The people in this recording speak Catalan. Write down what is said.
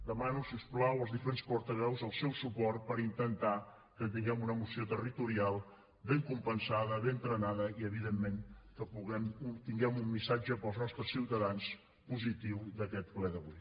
demano si us plau als diferents portaveus el seu suport per intentar que tinguem una moció territorial ben compensada ben trenada i evidentment que obtinguem un missatge per als nostres ciutadans positiu d’aquest ple d’avui